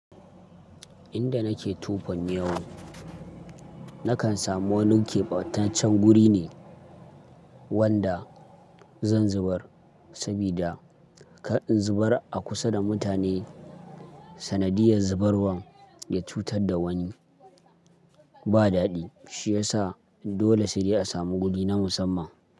Inda nake tufan yawu, nakan samu wani keɓataccen guri ne wanda zan zubar sabida kar in zubar a kusa da mutane sanadiyar zubarwan ya cutar da wani ba daɗi. Shi ya sa dole shi dai a samu guri na musamman.